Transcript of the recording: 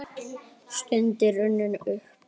Stundin runnin upp!